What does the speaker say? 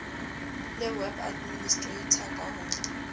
le web administrator ka ho